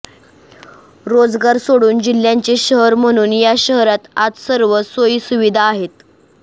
रोजगार सोडून जिल्ह्याचे शहर म्हणून या शहरात आज सर्व सोयीसुविधा आहेत